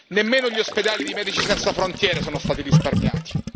Nemmeno gli ospedali di Medici senza frontiere sono stati risparmiati.